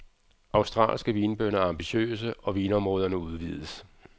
Australske vinbønder er ambitiøse, og vinområderne udvides.